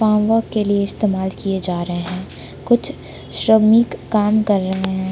आंवा के लिए इस्तेमाल किया जा रहे हैं कुछ श्रमिक काम कर रहे हैं।